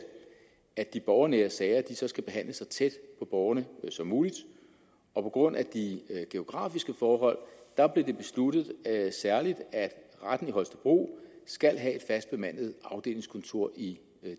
at de borgernære sager skal behandles så tæt på borgerne som muligt på grund af de geografiske forhold blev det besluttet at særlig retten i holstebro skal have et fast bemandet afdelingskontor i